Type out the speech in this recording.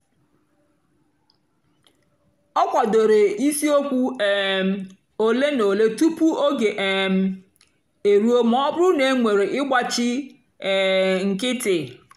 ọ kwàdòrè ìsìòkwụ́ um òlé na òlé tupu ógè um èrùó mà ọ́ bụ́rụ́ na ènwèrè ị̀gbáchì um nkìtì.